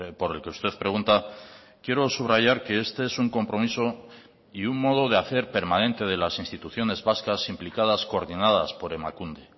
por el que usted pregunta quiero subrayar que este es un compromiso y un modo de hacer permanente de las instituciones vascas implicadas coordinadas por emakunde